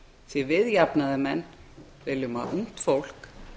því við jafnaðarmenn viljum að ungt fólk